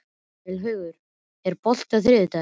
Vélaugur, er bolti á þriðjudaginn?